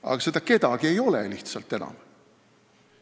Aga seda "kedagi" ei ole lihtsalt enam.